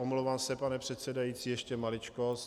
Omlouvám se, pane předsedající, ještě maličkost.